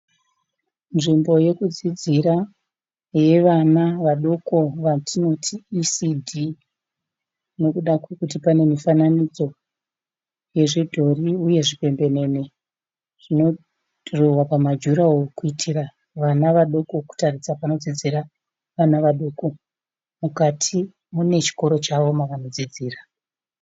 Nzvimbo yekudzidzira yevana vadoko yatinoti ECD nekuda kwekuti pane mifananidzo yezvidhori uye zvipembenene zvinodhirowewa pamajuraworo kuitira kutarisa vana vadiki pamadziro. Mukati mune chikoro chavo mavanodzidzira.